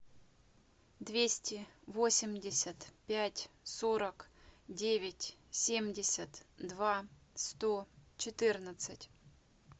двести восемьдесят пять сорок девять семьдесят два сто четырнадцать